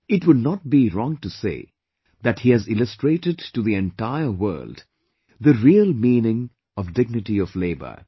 It would not be wrong to say that he has illustrated to the entire world the real meaning of dignity of labour